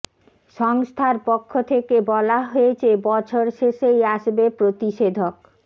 সংস্থার পক্ষ থেকে বলা হয়েছে বছর শেষেই আসবে প্রতিষেধক